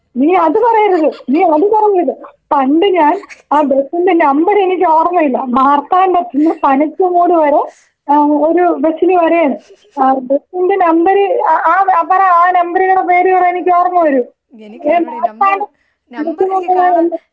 നീ അതു പറയരുത് നീ അത് പറയരുത്. പണ്ട് ഞാൻ ആ ബസിന്റെ നമ്പർ എനിക്ക് ഓർമ്മയില്ല. മാര്‍ത്താണ്ഡത്തൂന്ന് പനച്ചമൂട് വരെ ഏഹ് ഒരു ബസ്സില് വരെണ്.ഏഹ് ബസിന്റെ നമ്പർ അ ആ പറ നമ്പറിന്റെ പേര് പറ എനിക്ക് ഓർമ്മ വരൂ.*നോട്ട്‌ ക്ലിയർ* മാർത്താണ്ഡ *നോട്ട്‌ ക്ലിയർ*.